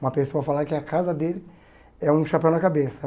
Uma pessoa falar que a casa dele é um chapéu na cabeça.